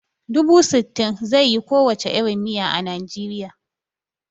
Dubu sittin zai yi ko wace irin miya a Nijeriya